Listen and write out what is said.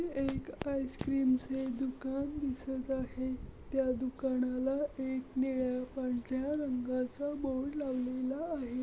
हे एक आइस-क्रीम चे दुकान दिसत आहे. त्या दुकानाला एक निळ्या पांढऱ्या रंगाचा बोर्ड लावलेला आहे.